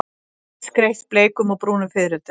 Skreytt bleikum og brúnum fiðrildum.